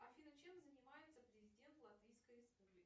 афина чем занимается президент латвийской республики